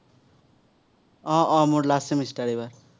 আহ আহ মোৰ last semester এইবাৰ।